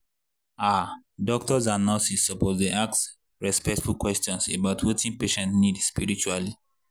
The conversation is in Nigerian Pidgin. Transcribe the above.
ah doctors and nurses suppose dey ask respectful questions about wetin patient need spiritually.